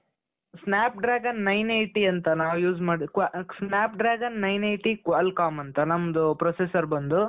snap dragon nine eighty ಅಂತ ನಾವ್ use ಮಾಡದ್ qual snap dragon nine eighty qual com ಅಂತ ನಮ್ದು processor ಬಂದು